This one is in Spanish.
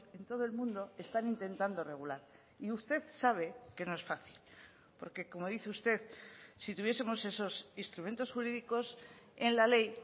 en todo el mundo están intentando regular y usted sabe que no es fácil porque como dice usted si tuviesemos esos instrumentos jurídicos en la ley